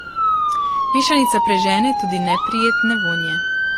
Mešanica prežene tudi neprijetne vonje.